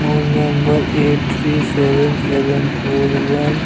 phone number आठ three seven seven four one --